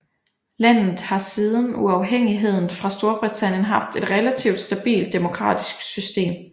Landet har siden uafhængigheden fra Storbritannien haft et relativt stabilt demokratisk system